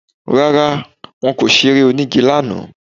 Rárá, wọn kò ṣeré onígi lánàá